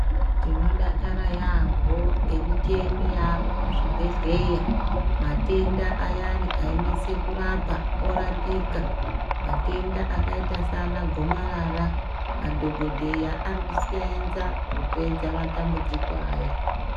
Tinodakara yaambho ngemicheni yaamo muzvibhedhleya, matenda ayani ainesa kurapa orapika matenda akaita saana, gomarara madhokodheya arikuseenza kupedza matambudziko aya.